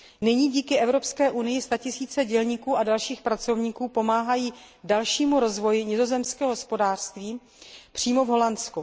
Nyní díky Evropské unii statisíce dělníků a dalších pracovníků pomáhají dalšímu rozvoji nizozemského hospodářství přímo v Nizozemsku.